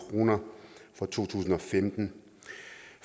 kroner for to tusind og femten